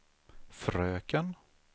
fröken